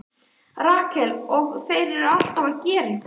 Rakel: Og þeir eru alltaf að gera eitthvað.